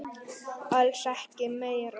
Alls ekki meira.